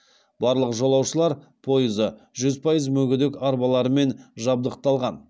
барлық жолаушылар пойызы жүз пайыз мүгедек арбаларымен жабдықталған